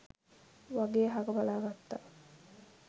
වගේ අහක බලා ගත්තා.